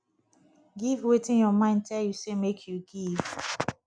give wetin your mind tell you say make you give